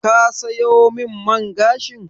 Ka sayo min man gashin?